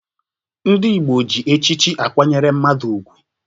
Ndị Igbo ji echichi akwanyere mmadụ ugwu.